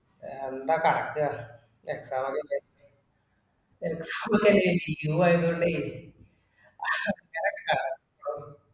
എന്താകക്ക Exam ല്ലം അല്ലെ ഇടക്ക് ഒരീസം ഒരു leave ആയതോണ്ടെ അങ്ങനല്ലാ